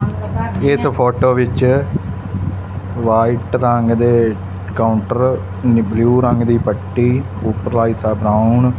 ਇਸ ਫੋਟੋ ਵਿੱਚ ਵਾਈਟ ਰੰਗ ਦੇ ਕਾਊਂਟਰ ਨੇ ਬਲੂ ਰੰਗ ਦੀ ਪੱਟੀ ਉੱਪਰਲਾ ਹਿੱਸਾ ਬ੍ਰਾਊਨ --